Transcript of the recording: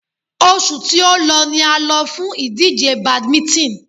Oṣù tí o lọ ni a lọ fún ìdíje badminton.